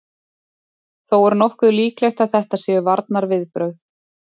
Þó er nokkuð líklegt að þetta séu varnarviðbrögð.